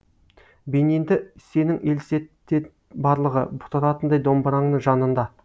бейнеңді сенің елестетет барлығы тұратындай домбыраңның жанында